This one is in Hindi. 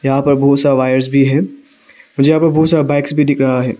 यहां पर बहुत सारा वायर्स भी है मुझे यहां पर बहुत सारा बाइक्स भी दिख रहा है।